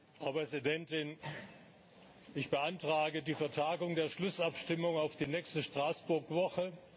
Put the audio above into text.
Frau Präsidentin! Ich beantrage die Vertagung der Schlussabstimmung auf die nächste Straßburg Woche.